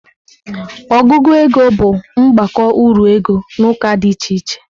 Ọgụgụ ego bụ mgbakọ uru ego n'ụka dị iche iche.